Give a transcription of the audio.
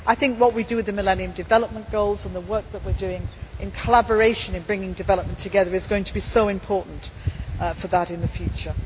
I think what we do with the Millennium Development Goals and the work that we are doing in collaboration in bringing development together is going to be so important for that in the